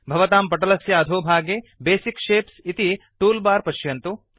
भवतां पटलस्य अधोभागे बेसिक शेप्स इति टूल् बार् पश्यन्तु